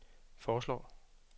foreslår